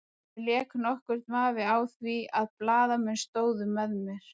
Ekki lék nokkur vafi á því að blaðamenn stóðu með mér.